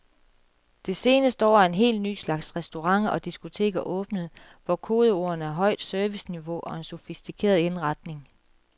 Det seneste år er en helt ny slags restauranter og diskoteker åbnet, hvor kodeordene er højt serviceniveau og en sofistikeret indretning.